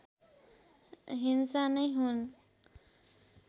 हिंसा नै हुन्